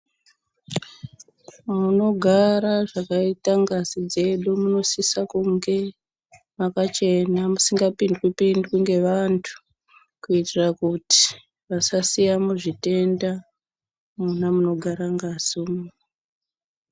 Munogara zvakaita ngazi dzedu munosisa kunge makachena, musingapindwi-pindwi ngevantu ,kuitira kuti vasasiyamo zvitenda mwona munogara ngazimwo.